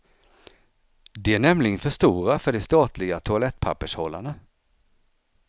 De är nämligen för stora för de statliga toalettpappershållarna.